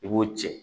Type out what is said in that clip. I b'o cɛ